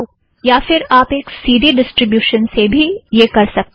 या फ़िर आप एक सी ड़ी ड़िस्ट्रिब्यूशन से भी यह कर सकते हो